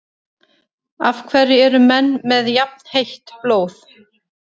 Af hverju eru menn með jafnheitt blóð?